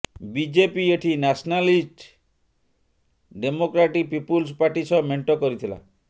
BJP ଏଠି Nationalist Democratic Peoples Party ସହ ମେଂଟ କରିଥିଲା